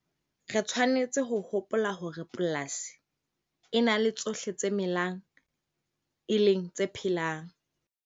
Re tshwanetse ho hopola hore polasi e na le tsohle tse melang, e leng tse phelang.